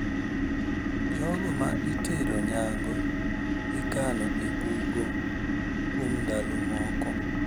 Jogo ma itero nyango ikano e bungo kuom ndalo moko.